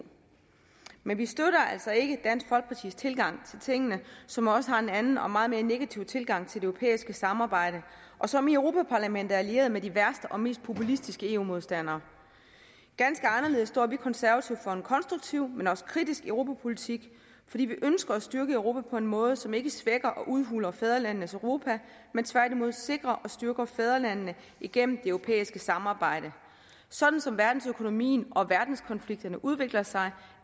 men vi støtter altså ikke dansk folkepartis tilgang til tingene som også har en anden og meget mere negativ tilgang til det europæiske samarbejde og som i europa parlamentet er allieret med de værste og mest populistiske eu modstandere ganske anderledes står vi konservative for en konstruktiv men også kritisk europapolitik fordi vi ønsker at styrke europa på en måde som ikke svækker og udhuler fædrelandenes europa men tværtimod sikrer og styrker fædrelandene igennem det europæiske samarbejde sådan som verdensøkonomien og verdenskonflikterne udvikler sig